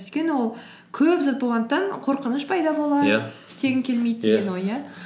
өйткені ол көп зат болғандықтан қорқыныш пайда істегім келмейді ой иә